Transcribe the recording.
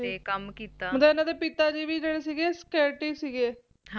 ਮਤਲਬ ਓਹਨਾ ਦੇ ਜੇਹੜੇ ਪਿਤਾ ਸਿਗੇ Security ਸਿਗੇ